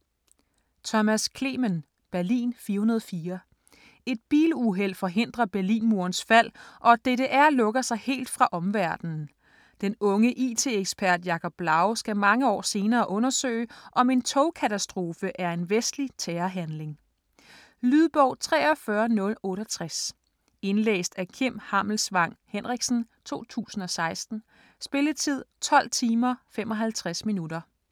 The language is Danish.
Clemen, Thomas: Berlin 404 Et biluheld forhindrer Berlinmurens fald og DDR lukker sig helt fra omverdenen. Den unge it-ekspert Jacob Blau skal mange år senere undersøge, om en togkatastrofe er en vestlig terrorhandling. Lydbog 43068 Indlæst af Kim Hammelsvang Henriksen, 2016. Spilletid: 12 timer, 55 minutter.